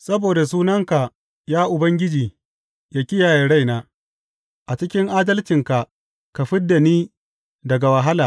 Saboda sunanka, ya Ubangiji, ka kiyaye raina; a cikin adalcinka, ka fid da ni daga wahala.